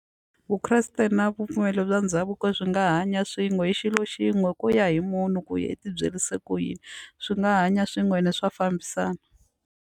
Vukreste na ripfumelo ra ndhavuko swi nga hanya swin'we hi xilo xin'we ku ya hi munhu ku ya i tibyerise ku yini swi nga hanya swin'we ene swa fambisana.